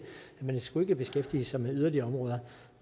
skulle beskæftige sig med yderligere områder